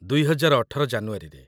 ୨୦୧୮ ଜାନୁଆରୀରେ ।